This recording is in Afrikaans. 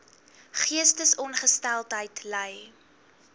geestesongesteldheid ly